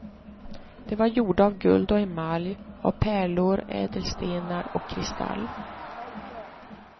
De var gjorda av guld och emalj, av pärlor, ädelstenar och kristall.